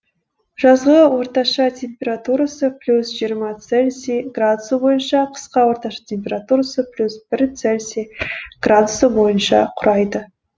жазғы орташа температурасы плюс жиырма цельсий градусы бойынша қысқы орташа температурасы плюс бір цельсий градусы бойынша құрайды